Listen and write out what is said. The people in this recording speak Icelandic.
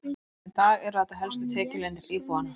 Enn þann dag í dag eru þetta helstu tekjulindir íbúanna.